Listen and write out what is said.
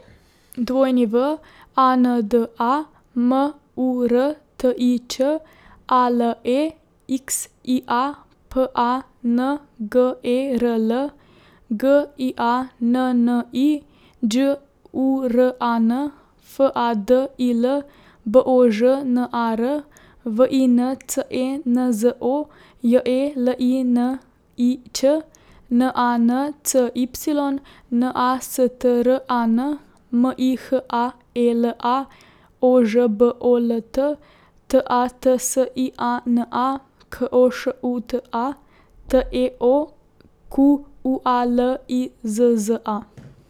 W A N D A, M U R T I Č; A L E X I A, P A N G E R L; G I A N N I, Đ U R A N; F A D I L, B O Ž N A R; V I N C E N Z O, J E L I N I Ć; N A N C Y, N A S T R A N; M I H A E L A, O Ž B O L T; T A T S I A N A, K O Š U T A; T E O, Q U A L I Z Z A.